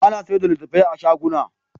A na sayarda da littattafai a shaguna